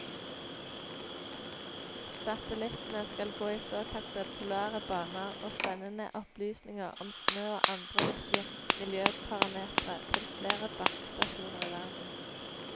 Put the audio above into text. Satellittene skal gå i såkalte polare baner og sende ned opplysninger om snø og andre viktige miljøparametre til flere bakkestasjoner i verden.